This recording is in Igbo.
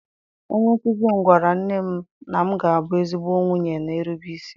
Onye nkuzi m gwara nne m na m ga-abụ ezigbo nwunye na-erube isi.